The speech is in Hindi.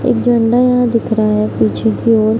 एक झंडा यहां दिख रहा है पीछे की ओर।